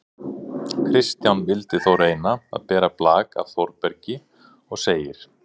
Kristján vildi þó reyna að bera blak af Þórbergi og segir: